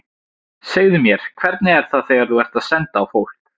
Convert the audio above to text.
Segðu mér, hvernig er það þegar þú ert að senda á fólk.